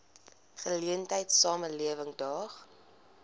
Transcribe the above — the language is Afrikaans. geleentheid samelewing daag